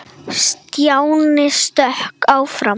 Stjáni stökk fram.